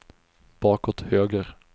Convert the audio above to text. bakåt höger